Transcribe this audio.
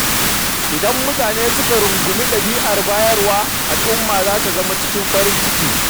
Idan mutane suka rungumi ɗabi’ar bayarwa, al’umma za ta kasance cikin nishaɗi da ci gaba.